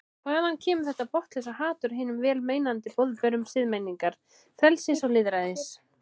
Hvaðan kemur þetta botnlausa hatur á hinum vel meinandi boðberum siðmenningar, frelsis og lýðræðis?